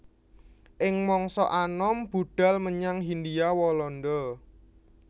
Ing mangsa anom budhal menyang Hindia Walanda